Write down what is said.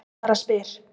Ég bara spyr